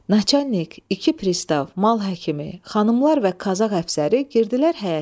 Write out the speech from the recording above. Naçalnik, iki pristav, mal həkimi, xanımlar və Qazaq həfsəri girdilər həyətə.